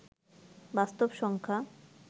বাস্তব সংখ্যা